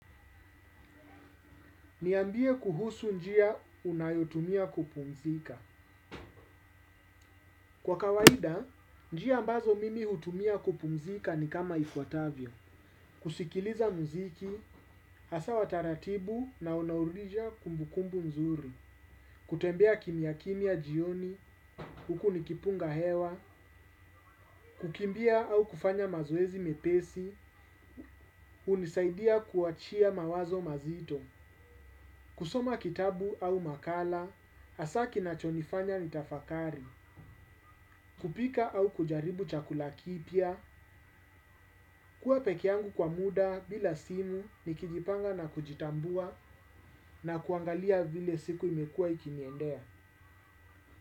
Niambie kuhusu njia unayotumia kupumzika. Kwa kawaida, njia ambazo mimi hutumia kupumzika ni kama ifwatavyo. Kusikiliza muziki, hasa wataratibu na unaurija kumbukumbu mzuri. Kutembea kimia kimia jioni, huku nikipunga hewa. Kukimbia au kufanya mazoezi mepesi. Unisaidia kuachia mawazo mazito. Kusoma kitabu au makala asa kinachonifanya nitafakari. Kupika au kujaribu chakula kipia. Kua peke yangu kwa muda bila simu. Nikijipanga na kujitambua na kuangalia vile siku imekua ikiniendea.